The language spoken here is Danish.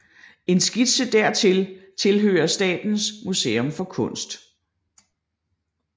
En skitse dertil tilhører Statens Museum for Kunst